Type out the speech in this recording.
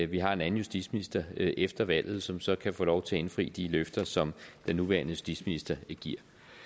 vi har en anden justitsminister efter valget som så kan få lov til at indfri de løfter som den nuværende justitsminister giver